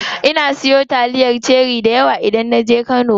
Ina siyo taliyar cherie dayawa idan naje kano.